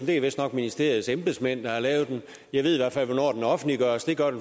det er vistnok ministeriets embedsmænd der har lavet den jeg ved i hvert fald hvornår den blev offentliggjort